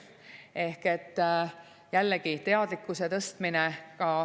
Ehk jällegi, teadlikkuse tõstmine.